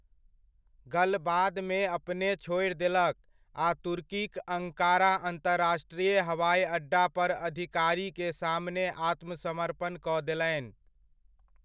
गल बादमे अपने छोरि देलक आ तुर्कीक अङ्कारा अंतरराष्ट्रीय हवाइ अड्डा पर अधिकारी के सामने आत्मसमर्पण कऽ देलनि।